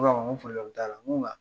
N ko a ma ko nko nga